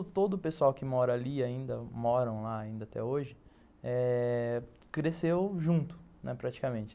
E todo o pessoal que mora ali ainda, moram lá ainda até hoje eh, cresceu junto, né, praticamente.